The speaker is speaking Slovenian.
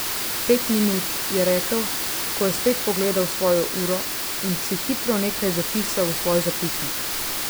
Pet minut, je rekel, ko je spet pogledal svojo uro, in si hitro nekaj zapisal v svoj zapisnik.